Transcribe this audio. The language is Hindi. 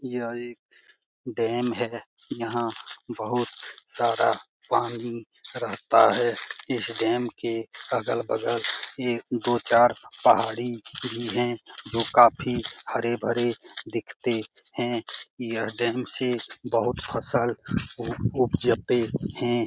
यह एक डेम है यहाँ बहुत सारा पानी रहता है इस डेम के अगल-बगल एक दो चार पहाड़ी भी है जो काफी हरे-भरे दिखते है यह डेम से बहुत फसल उबजते है।